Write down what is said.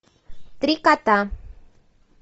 три кота